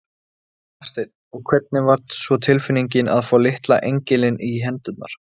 Hafsteinn: Og hvernig var svo tilfinningin að fá litla engilinn í hendurnar?